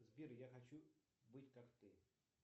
сбер я хочу быть как ты